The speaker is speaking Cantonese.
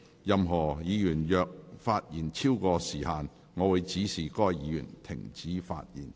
任何議員若發言超過時限，我會指示該議員停止發言。